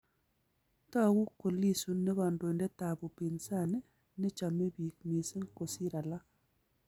Tagu ko Lissu ne kandoindet ab upinsani ne chame biik missing kosir alaak